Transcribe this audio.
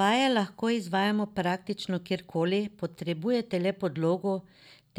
Vaje lahko izvajamo praktično kjer koli, potrebujete le podlogo,